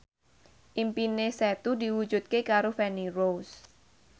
impine Setu diwujudke karo Feni Rose